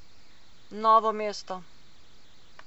Novo mesto.